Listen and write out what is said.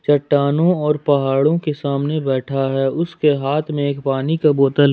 चट्टानों और पहाड़ों के सामने बैठा है उसके हाथ में एक पानी का बोतल है।